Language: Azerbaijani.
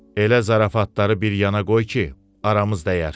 Elə zarafatları bir yana qoy ki, aramıza dəyər.